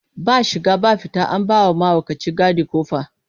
Ba shiga ba fita, an ba wa mahaukaci gadi ƙofa.